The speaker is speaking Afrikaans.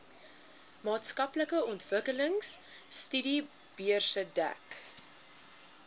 maatskaplike ontwikkelingstudiebeurse dek